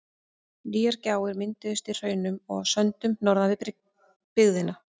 Nýjar gjár mynduðust í hraununum og á söndunum norðan við byggðina.